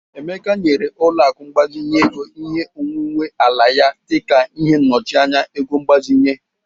Emeka nyere ụlọaku mgbazinye ego ihe onwuwe ala ya dịka ihe nnochianya ego mgbazinye.